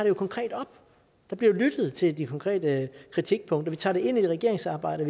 jo konkret op der bliver lyttet til de konkrete kritikpunkter vi tager det med i regeringsarbejdet